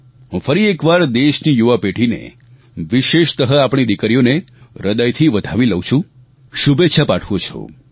હું ફરી એકવાર દેશની યુવા પેઢીને વિશેષતઃ આપણી દિકરીઓને હ્રદયથી વધાવી લઉ છું શુભેચ્છા પાઠવું છું